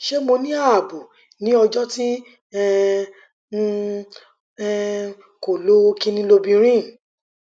ṣe mo ni aabo ni ọjọ ti um n um ko lo kinniilobirin